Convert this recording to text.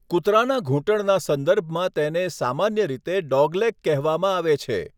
કૂતરાના ઘૂંટણના સંદર્ભમાં તેને સામાન્ય રીતે 'ડોગલેગ' કહેવામાં આવે છે.